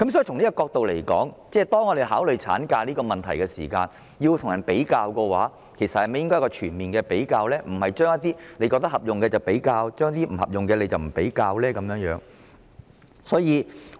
從這角度而言，當政府考慮產假的問題時，政府應與其他地方進行全面比較，而非選取對自己有利的地方進行比較，不利的便不選取。